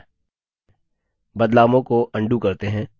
बदलावों को अन्डू करते हैं